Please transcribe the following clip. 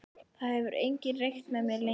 Það hefur enginn reykt með mér lengi.